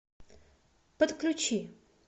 подключи